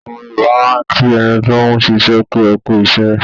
Àwọn Yorùbá máa ń kí ẹni tóún ṣiṣẹ́ pé "ẹkú iṣẹ́"